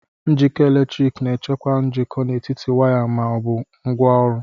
Njikọ eletrik na-echekwa njikọ n'etiti waya ma ọ bụ ngwaọrụ.